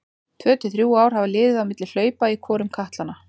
Tvö til þrjú ár hafa liðið á milli hlaupa í hvorum katlanna.